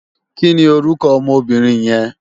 Kini órúkò òmò óbìrín yèn?